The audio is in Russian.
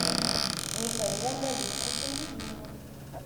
михаилом валерьевичем рябининым